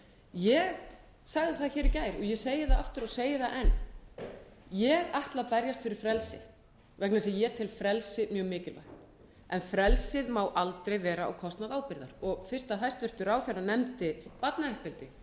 ég segi það aftur og segi það enn ég ætla að berjast fyrir frelsi vegna þess að ég tel frelsi mjög mikilvægt en frelsið má aldrei vera á kostnað ábyrgðar og fyrst hæstvirtur ráðherra nefndi barnauppeldi